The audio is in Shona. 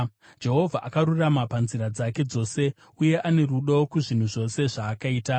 Jehovha akarurama panzira dzake dzose, uye ane rudo kuzvinhu zvose zvaakaita.